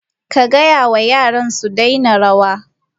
Ka gaya wa yara su daina rawa!